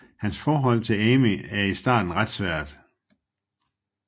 Hans forhold til Amy er i starten ret svært